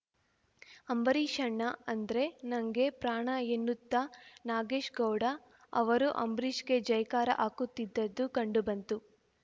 ಅಂಬರೀಷಣ್ಣಾ ಅಂದ್ರೆ ನಂಗೆ ಪ್ರಾಣಎನ್ನುತ್ತಾ ನಾಗೇಶ್‌ ಗೌಡ ಅವರು ಅಂಬರೀಷ್‌ಗೆ ಜೈಕಾರ ಹಾಕುತ್ತಿದ್ದದ್ದು ಕಂಡುಬಂತು